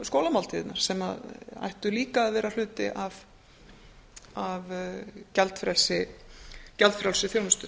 skólamáltíðirnar sem að ættu líka að vera hluti af gjaldfrelsi gjaldfrjálsri þjónustu